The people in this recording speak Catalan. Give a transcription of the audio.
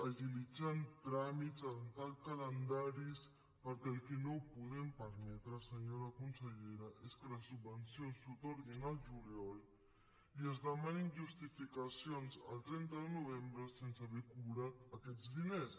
agilitzant tràmits adoptant calendaris perquè el que no podem permetre senyora consellera és que les subvencions s’atorguin el juliol i es demanin justificacions el trenta de novembre sense haver cobrat aquests diners